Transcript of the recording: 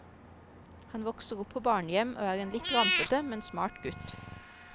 Han vokser opp på barnehjem, og er en litt rampete, men smart gutt.